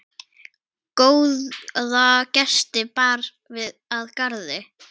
Góða gesti bar að garði.